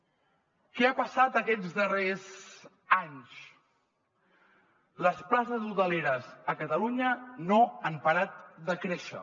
què ha passat aquests darrers anys les places hoteleres a catalunya no han parat de créixer